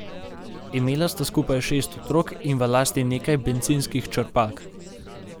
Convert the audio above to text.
Imela sta skupaj šest otrok in v lasti nekaj bencinskih črpalk.